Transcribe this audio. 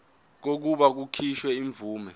kokuba kukhishwe imvume